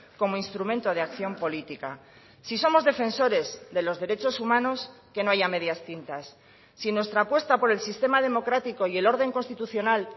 como instrumento de acción política si somos defensores de los derechos humanos que no haya medias tintas si nuestra apuesta por el sistema democrático y el orden constitucional